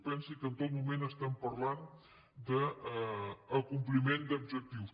pensi que en tot moment estem parlant d’acompliment d’objectius